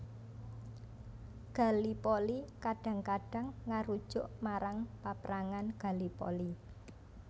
Gallipoli kadhang kadhang ngarujuk marang Paprangan Gallipoli